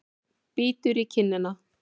Bítur í kinnina.